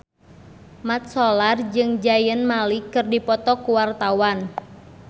Mat Solar jeung Zayn Malik keur dipoto ku wartawan